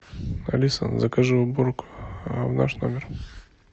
алиса закажи уборку в наш номер